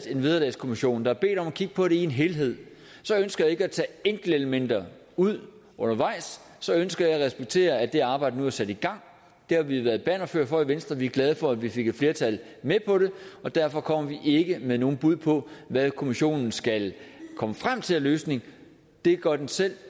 en vederlagskommission der bedt om at kigge på det i en helhed så ønsker jeg ikke at tage enkeltelementer ud undervejs så ønsker jeg at respektere at det arbejde nu er sat i gang det har vi været bannerfører for i venstre og vi er glade for at vi fik et flertal med på det og derfor kommer vi ikke med nogen bud på hvad kommissionen skal komme frem til af løsninger det gør den selv